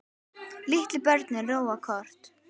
Litlu börnin róa kort.